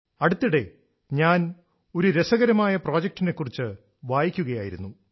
അടുത്തിടെ ഞാൻ ഒരു രസകരമായ പ്രോജക്റ്റിനെക്കുറിച്ച് വായിക്കുകയായിരുന്നു